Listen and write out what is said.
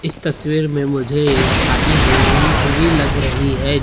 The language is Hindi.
इस तस्वीर में मुझे एक शादी हुई-हुई हुई लग रही है।